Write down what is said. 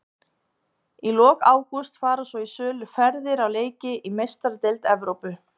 Í lok ágúst fara svo í sölu ferðir á leiki í Meistaradeild Evrópu.